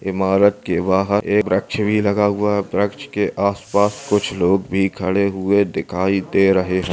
इमारत के बाहर एक व्रक्ष भी लगा हुआ है व्रक्ष के आसपास कुछ लोग भी खड़े हुए दिखाई दे रहे हैं।